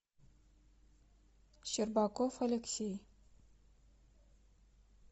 щербаков алексей